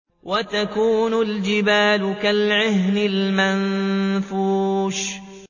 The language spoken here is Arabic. وَتَكُونُ الْجِبَالُ كَالْعِهْنِ الْمَنفُوشِ